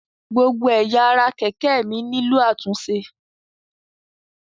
Gbogbo ẹ̀yà ara kẹ̀kẹ́ mi nílò àtúnṣe.